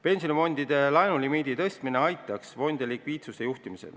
Pensionifondide laenulimiidi suurendamine aitaks fondidel likviidsust juhtida.